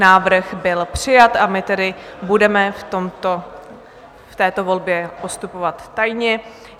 Návrh byl přijat, a my tedy budeme v této volbě postupovat tajně.